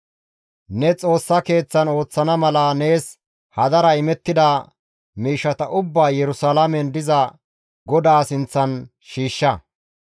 Ne Xoossa Keeththan ooththana mala nees hadara imettida miishshata ubbaa Yerusalaamen diza Godaa sinththan shiishsha.